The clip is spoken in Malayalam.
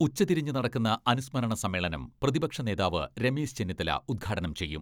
ഉച്ചതിരിഞ്ഞ് നടക്കുന്ന അനുസ്മരണ സമ്മേളനം പ്രതിപക്ഷ നേതാവ് രമേശ് ചെന്നിത്തല ഉദ്ഘാടനം ചെയ്യും.